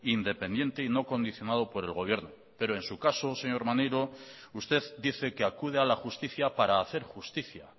independiente y no condicionado por el gobierno pero en su caso señor maneiro usted dice que acude a la justicia para hacer justicia